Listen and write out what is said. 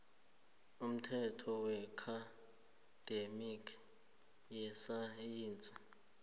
umthetho weakhademi yesayensi